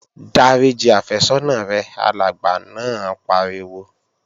Dáríji àfẹ́sọ́nà rẹ! Alàgbà náà pariwo